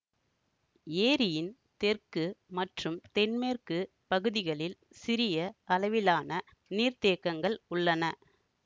ஏரியின் தெற்கு மற்றும் தென்மேற்கு பகுதிகளில் சிறிய அளவிலான நீர்தேக்கங்கள் உள்ளன